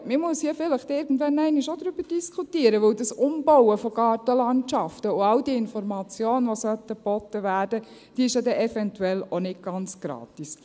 Man muss hier vielleicht irgendwann einmal auch darüber diskutieren, denn das Umbauen von Gartenlandschaften und all diese Informationen, die geboten werden sollten, sind ja eventuell auch nicht ganz gratis.